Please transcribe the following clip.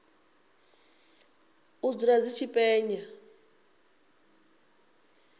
u dzula dzi tshi penya